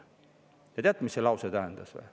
Ja teate, mida see lause tähendas?